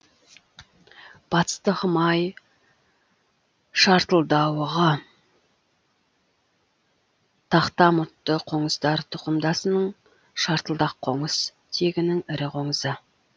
батыстық май шартылдауығы тақтамұртты қоңыздар тұқымдасының шартылдақ қоңыз тегінің ірі қоңызы